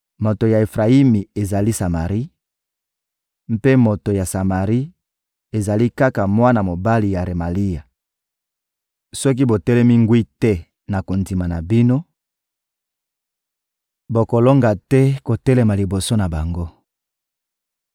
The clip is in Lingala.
Moto ya Efrayimi ezali Samari, mpe moto ya Samari ezali kaka mwana mobali ya Remalia. Soki botelemi ngwi te na kondima na bino, bokolonga te kotelema liboso na bango!›»